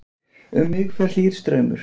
Um mig fer hlýr straumur.